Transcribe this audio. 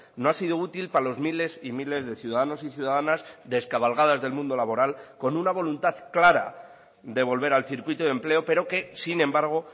no ha sido útil para los miles y miles de ciudadanos y ciudadanas descabalgadas del mundo laboral con una voluntad clara de volver al circuito de empleo pero que sin embargo